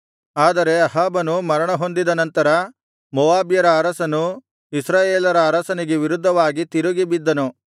ಆದರೆ ಅಹಾಬನು ಮರಣಹೊಂದಿದ ನಂತರ ಮೋವಾಬ್ಯರ ಅರಸನು ಇಸ್ರಾಯೇಲರ ಅರಸನಿಗೆ ವಿರುದ್ಧವಾಗಿ ತಿರುಗಿಬಿದ್ದನು